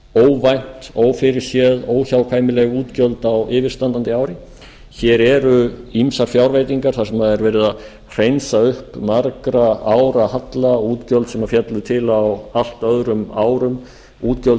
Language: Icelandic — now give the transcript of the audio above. óvænt ófyrirséð óhjákvæmileg útgjöld á yfirstandandi ári hér eru ýmsar fjárveitingar þar sem er verið að hreinsa upp margra ára halla útgjöld sem féllu til á allt öðrum árum útgjöld